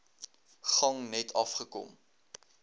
gang net afgekom